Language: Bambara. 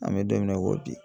An bɛ don min na i ko bi